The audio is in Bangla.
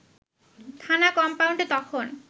থানা কম্পাউন্ডে তখন